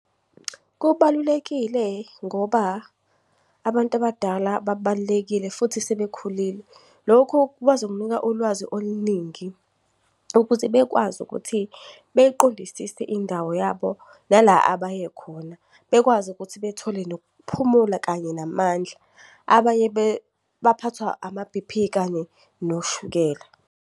Kubalulekile ngoba abantu abadala babalulekile futhi sebekhulile. Lokhu bazokunika ulwazi oluningi ukuze bekwazi ukuthi beyiqondisise indawo yabo. Nala abaye khona bekwazi ukuthi bethole nokuphumula kanye namandla. Abanye baphathwa ama-B_P kanye noshukela.